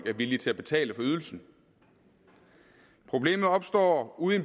er villige til at betale for ydelsen problemet opstår ude i